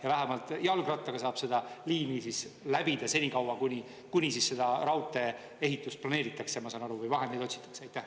Kas vähemalt jalgrattaga saab seda liini läbida senikaua, kuni seda raudtee-ehitust planeeritakse, ma saan aru, või vahendeid otsitakse?